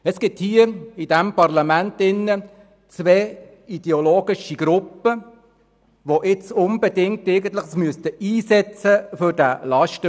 Es gibt in diesem Parlament zwei ideologische Gruppen, die sich unbedingt für diesen Lastenausgleich einsetzen müssten.